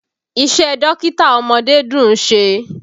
Iṣẹ́ dókítà ọmọdé dùn ṣe.